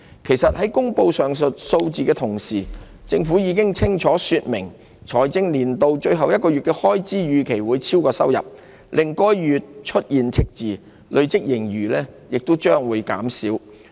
其實，在公布上述數字的同時，政府已清楚說明財政年度最後1個月的開支預期會超過收入，令該月出現赤字，累積盈餘將會減少。